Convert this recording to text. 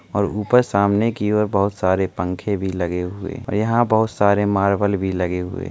और उपर सामने की ओर बोहोत सारे पंखे भी लगे हुए और यहाँ बोहोत सारे मार्शल भी लगे हुए --